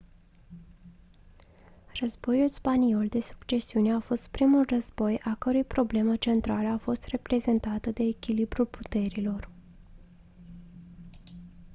războiul spaniol de succesiune a fost primul război a cărui problemă centrală a fost reprezentată de echilibrul puterilor